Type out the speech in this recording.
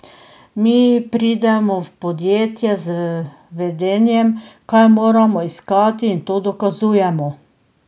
Mi pridemo v podjetje z vedenjem, kaj moramo iskati, in to dokazujemo.